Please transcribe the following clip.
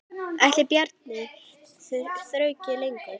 Ætli Bjarni þrauki lengur?